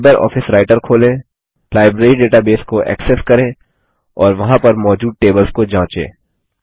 LibreOffice Writer खोलें library database को access करें और वहाँ पर मौजूद टेबल्स को जाँचें